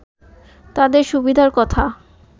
তাদের সুবিধার কথা